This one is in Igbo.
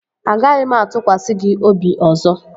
Agaghị m atụkwasị gị obi ọzọ